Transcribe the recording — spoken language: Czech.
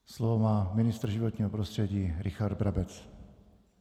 Slovo má ministr životního prostředí Richard Brabec.